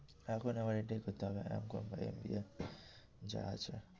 এখন এবার এটাই করতে হবে M com করে MBA যা আছে।